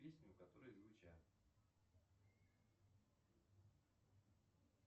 песни которые звучат